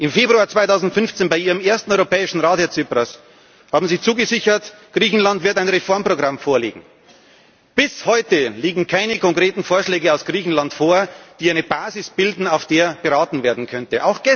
Im Februar 2015, bei Ihrem ersten Europäischen Rat, Herr Tsipras, haben Sie zugesichert, Griechenland werde ein Reformprogramm vorlegen. Bis heute liegen keine konkreten Vorschläge aus Griechenland vor, die eine Basis bilden, auf der beraten werden könnte.